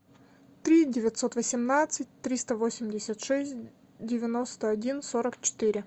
три девятьсот восемнадцать триста восемьдесят шесть девяносто один сорок четыре